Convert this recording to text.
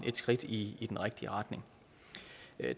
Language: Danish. et skridt i den rigtige retning